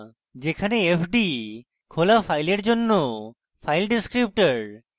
যেখানে fd খোলা file জন্য file descriptor